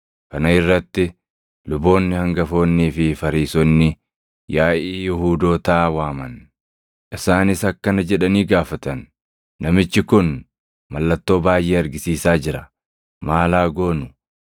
Kana irratti luboonni hangafoonnii fi Fariisonni yaaʼii Yihuudootaa waaman. Isaanis akkana jedhanii gaafatan; “Namichi kun mallattoo baayʼee argisiisaa jira. Maal haa goonu?